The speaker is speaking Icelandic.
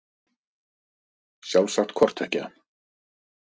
Sjálfsagt hvort tveggja.